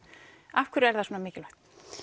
af hverju er það svona mikilvægt